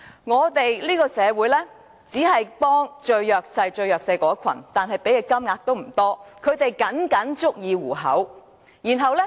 我們這個社會只幫助最弱勢的一群，但投放的金額也不多，他們僅僅足以糊口。